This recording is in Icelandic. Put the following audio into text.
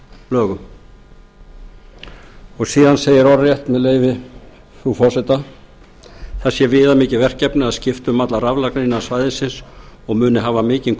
lögum síðan segir orðrétt með leyfi frú forseta það er viðamikið verkefni að skipta um allar raflagnir innan svæðisins og muni hafa mikinn